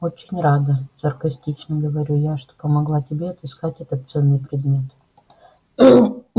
очень рада саркастично говорю я что помогла тебе отыскать этот ценный предмет